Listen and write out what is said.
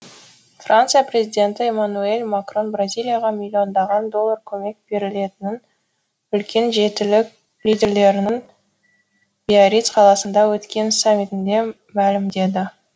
франция президенті эммануэль макрон бразилияға миллиондаған доллар көмек берілетінін үлкен жетілік лидерлерінің биарриц қаласында өткен саммитінде мәлімдеді